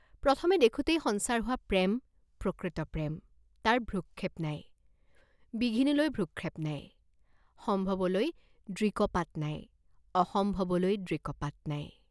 প্ৰথম দেখোতেই সঞ্চাৰ হোৱা প্ৰেম প্ৰকৃত প্ৰেম, তাৰ ভ্ৰুক্ষেপ নাই, বিঘিনিলৈ ভ্ৰুক্ষেপ নাই, সম্ভৱলৈ দৃকপাত নাই, অসম্ভৱলৈ দৃকপাত নাই।